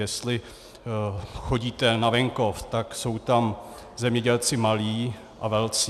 Jestli chodíte na venkov, tak jsou tam zemědělci malí a velcí.